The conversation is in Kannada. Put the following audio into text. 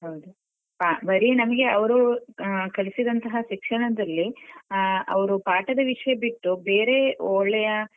ಹೌದು ಹ ಬರೀ ನಮ್ಗೆ ಅವ್ರು ಆ ಕಲಿಸಿದಂತಹ ಶಿಕ್ಷಣದಲ್ಲಿ ಅ ಅವ್ರು ಪಾಠದ ವಿಷ್ಯ ಬಿಟ್ಟು ಬೇರೆ ಒಳ್ಳೆಯಾ.